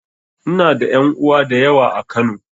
Ina da ƴan uwa da yawa a Kano.